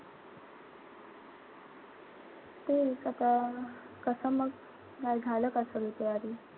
तेच आता कसं मग झालं का सगळी तयारी?